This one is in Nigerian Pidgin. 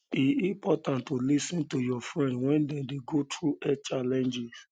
e important to lis ten to your friend when dem dey go through health challenges